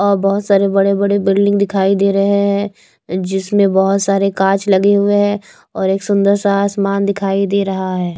और बहुत सारे बड़े-बड़े बिल्डिंग दिखाई दे रहे हैं जिसमें बहुत सारे कांच लगे हुए हैं और एक सुंदर सा आसमान दिखाई दे रहा है।